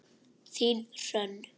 Þín Hrönn.